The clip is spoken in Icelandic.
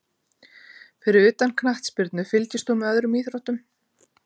Fyrir utan knattspyrnu, fylgist þú með öðrum íþróttum?